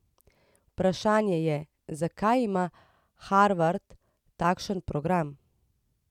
Vprašanje je, zakaj ima Harvard takšen program?